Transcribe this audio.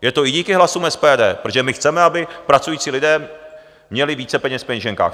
Je to i díky hlasům SPD, protože my chceme, aby pracující lidé měli více peněz v peněženkách.